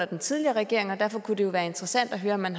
den tidligere regering og derfor kunne det være interessant at høre om man